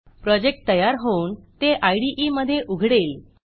project तयार होऊन ते इदे मधे उघडेल